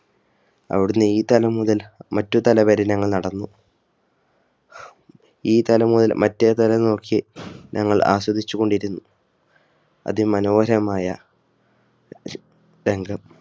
അവിടുന്ന് ഈ തല മുതൽ മറ്റൊരു തല വരെ ഞങ്ങൾ നടന്നു ഈ തല മുതൽ മറ്റേതല നോക്കി ഞങ്ങൾ ആസ്വദിച്ചുകൊണ്ടിരുന്നു അതിമനോഹരമായ രംഗം